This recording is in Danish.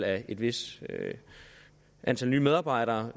af et vist antal nye medarbejdere